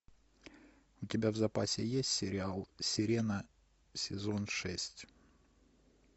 у тебя в запасе есть сериал сирена сезон шесть